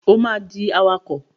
O ma dì awakọ̀!